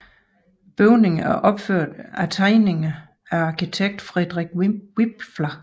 Bygningen er opført efter tegninger af arkitekt Friedrich Wipfler